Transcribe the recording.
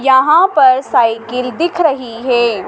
यहां पर साइकिल दिख रही है।